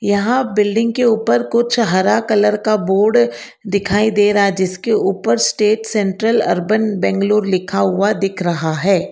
यहां बिल्डिंग के ऊपर कुछ हरा कलर का बोर्ड दिखाई दे रहा है जिसके ऊपर स्टेट सेंट्रल अर्बन बेंगलुरु लिखा हुआ दिख रहा है।